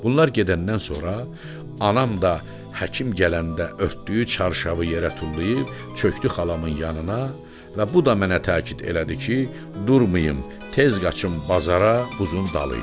Bunlar gedəndən sonra anam da həkim gələndə örtdüyü çarşavı yerə tullayıb çökdü xalamın yanına və bu da mənə təkid elədi ki, durmayım tez qaçım bazara buzun dalıyca.